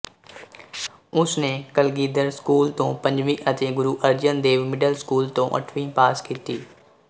ਉਸਨੇ ਕਲਗੀਧਰ ਸਕੂੂਲ ਤੋਂ ਪੰਜਵੀਂ ਅਤੇ ਗੁਰੂ ਅਰਜਨ ਦੇਵ ਮਿਡਲ ਸਕੂੂਲ ਤੋਂ ਅੱਠਵੀਂ ਪਾਸ ਕੀਤੀ